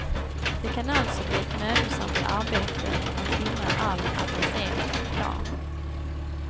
Det kan alltså bli ett mödosamt arbete att hindra all adresserad reklam.